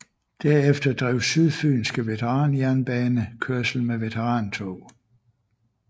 Derefter drev Syd Fyenske Veteranjernbane kørsel med veterantog